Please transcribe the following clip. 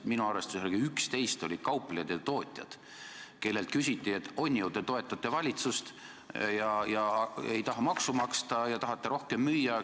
Minu arvestuse kohaselt 11 nendest olid kauplejad ja tootjad, kellelt küsiti, et on ju, te toetate valitsust ja ei taha maksu maksta ja tahate rohkem müüa.